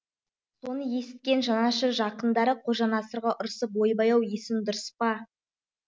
соны есіткен жанашыр жақындары қожа насырға ұрысып ойбай ау есің дұрыс па